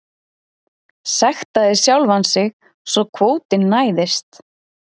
Sektaði sjálfan sig svo kvótinn næðist